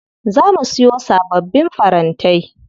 Za mu siyo sababbin farantai.